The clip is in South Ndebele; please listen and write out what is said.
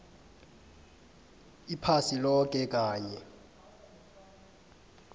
iphasi loke kanye